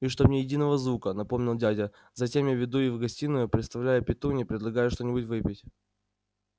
и чтоб ни единого звука напомнил дядя затем я веду их в гостиную представляю петунье и предлагаю что-нибудь выпить